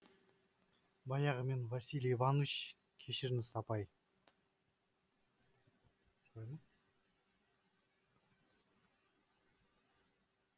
баяғы мен василий иванович кешіріңіз апай